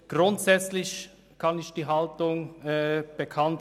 Grundsätzlich nehmen wir folgende Haltung ein: